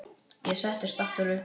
Ég settist aftur upp.